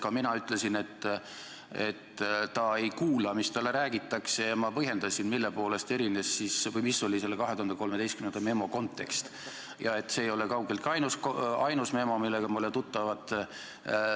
Ka mina ütlesin, et ta ei kuula, mis talle räägitakse, ja ma põhjendasin, mis oli selle 2013. aasta memo kontekst ja et see ei ole kaugeltki ainus memo, millega me oleme tuttavad.